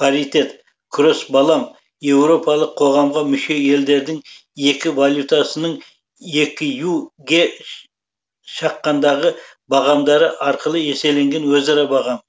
паритет кросс балам еуропалық қоғамға мүше елдердің екі валютасының экю ге шаққандағы бағамдары арқылы есептелген өзара бағамы